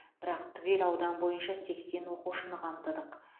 бірақ түгел аудан бойынша сексен оқушыны қамтыдық